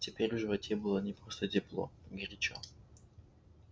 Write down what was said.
теперь в животе было не просто тепло горячо